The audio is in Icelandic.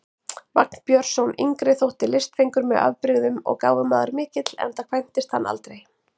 Vagn Björnsson yngri þótti listfengur með afbrigðum og gáfumaður mikill, enda kvæntist hann aldrei.